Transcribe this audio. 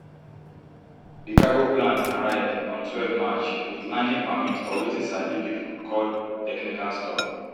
di cargo plan arrive on twelve march wit landing permit for wetin sabi pipo call technical stop